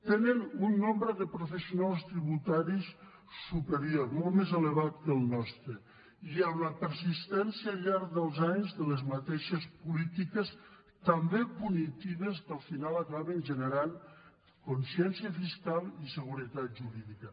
tenen un nombre de professionals tributaris superior molt més elevat que el nostre i amb la persistència al llarg dels anys de les mateixes polítiques també punitives que al final acaben generant consciència fiscal i seguretat jurídica